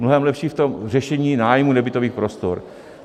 Mnohem lepší v tom řešení nájmu nebytových prostor.